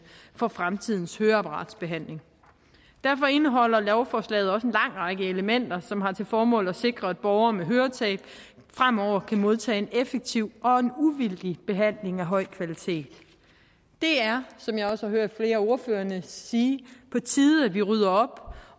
for fremtidens høreapparatbehandling derfor indeholder lovforslaget også en lang række elementer som har til formål at sikre at borgere med høretab fremover kan modtage en effektiv og en uvildig behandling af høj kvalitet det er som jeg også har hørt flere af ordførerne sige på tide at vi rydder op